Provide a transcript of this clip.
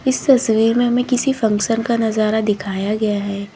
इस तस्वीर में हमें किसी फंक्शन का नजारा दिखाया गया है।